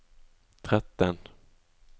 tretten